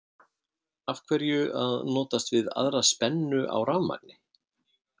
Af hverju að notast við aðra spennu á rafmagni?